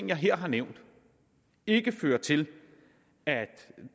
jeg her har nævnt ikke fører til at